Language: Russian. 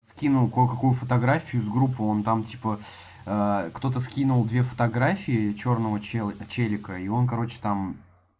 скинул кое какую фотографию из группы он там типа кто-то скинул две фотографии чёрного чела черика и он короче там